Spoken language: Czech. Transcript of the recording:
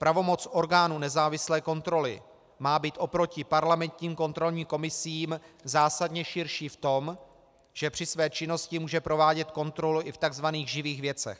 Pravomoc orgánu nezávislé kontroly má být oproti parlamentním kontrolním komisím zásadně širší v tom, že při své činnosti může provádět kontrolu i v tzv. živých věcech.